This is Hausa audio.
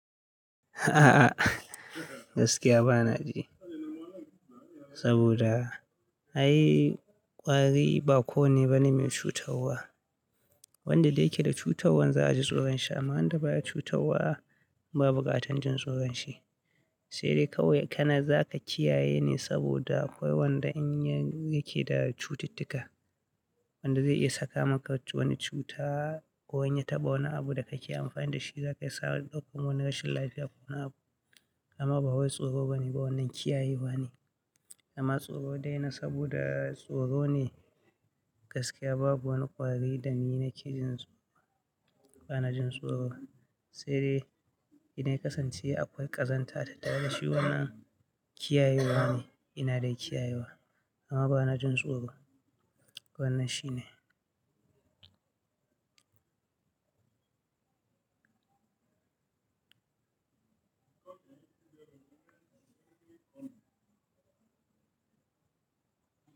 A'a, gaskiya ba na ji. Saboda ai ƙwari ba ko ne ba ne mai cutarwa. Wanda dai yake da cutarwan za a ji tsoron shi amma wanda baya cutarwa babu katar jin tsoron shi. Sai dai kawai kana za ka kiyaye ne saboda akwai wanda in yake da cutittika, wanda zai iya saka maka wani cuta ko wanya ta ba wani abu da ka ƙi amfani da shi, za ka isa ɗauko wani rashin lafiya ko wani abu. Amma ba wai tsoro bane ba wannan kiyayewa ne. Amma tsoro dai na saboda tsoro ne gaskiya babu wani ƙwari da ni na ke jin tsoro, ba na jin tsoro. Sai dai ina kasance akwai ƙazanta ta daga shi wannan kiyayewa ne, ina dai kiyayewa. Amma ba na jin tsoro, wannan shi ne.